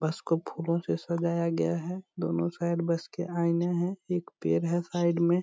बस को फूलों से सजाया गया है दोनों साइड बस के आईने है एक पेड़ है साइड में।